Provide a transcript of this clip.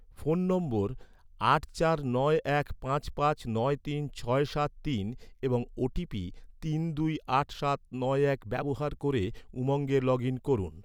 phone number আট চার নয় এক পাঁচ পাঁচ নয় তিন ছয় সাত তিন এবং ওটিপি তিন দুই আট সাত নয় এক ব্যবহার ক’রে, উমঙ্গে লগ ইন করুন